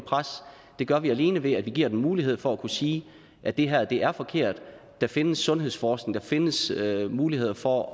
gør vi alene ved at vi giver dem mulighed for at kunne sige at det her er forkert der findes sundhedsforskning og der findes muligheder for at